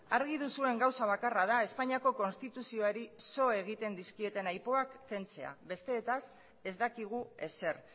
argi duzuen gauza bakarra da espainiako konstituzioari so egiten dizkieten aipuak kentzea besteetaz ez dakigu ezer